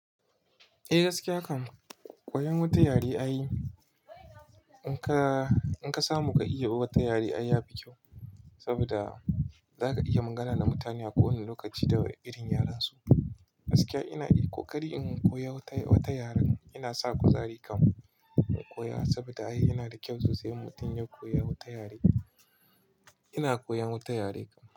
Eh gaskiya kam, koyan wata yare ai. In ka, in ka samu ka iya wata yare ai ya fi kyau saboda zaka iya magana da mutane a ko wani lokaci da irin yaren su. Gaskiya ina, ko ƙari in koyi wata, wata yaren ina sa kuzari kam in koya saboda ai, yana da kyau sosai in mutum ya koya wata yare. Ina koyan wata yare kam.